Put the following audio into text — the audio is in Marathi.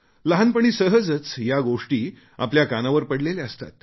लहानपणी सहजच या गोष्टी आपल्या कानावर पडलेल्या असतात